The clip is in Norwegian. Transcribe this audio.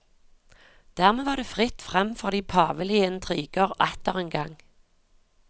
Dermed var det fritt fram for de pavelige intriger atter en gang.